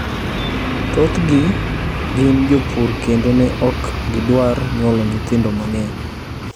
Thothgi gin jopur kendo ne ok gidwar nyuolo nyithindo mang'eny.